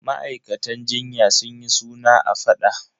Ma'aikatan jinya sun yi suna a faɗa.